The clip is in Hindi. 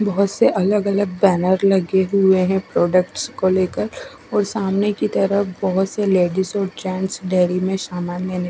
बोहोत से अलग अलग बैनर लगे हुए है प्रोडक्ट्स को लेकर और सामने की तरफ बोहोत से लेडिज और जेंट्स डेरी में सामान--